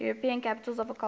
european capitals of culture